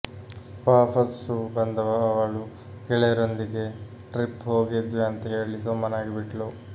ವಾಪಸ್ಸು ಬಂದ ಅವಳು ಗೆಳೆಯರೊಂದಿಗೆ ಟ್ರಿಪ್ ಹೋಗಿದ್ವಿ ಅಂತ ಹೇಳಿ ಸುಮ್ಮನಗಿ ಬಿಟ್ಲು